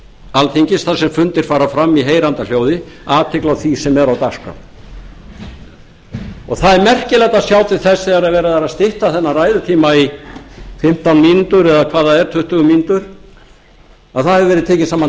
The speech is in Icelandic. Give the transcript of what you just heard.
alþingis þar sem fundir fara fram í heyranda hljóði athygli á því sem er á dagskrá það er merkilegt að sjá til þess þegar verið er að stytta þennan ræðutíma í fimmtán mínútur eða hvað það er tuttugu mínútur að það hefur verið tekin saman